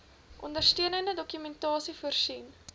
ondersteunende dokumentasie voorsien